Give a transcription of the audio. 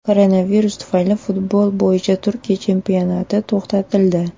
Koronavirus tufayli futbol bo‘yicha Turkiya chempionati to‘xtatildi.